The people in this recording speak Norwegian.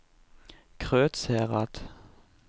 Krødsherad